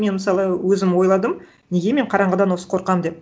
мен мысалы өзім ойладым неге мен қараңғыдан осы қорқамын деп